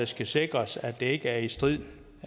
skal sikre sikre at det ikke er i strid